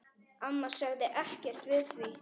Amma sagði ekkert við því.